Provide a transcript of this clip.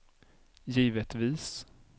givetvis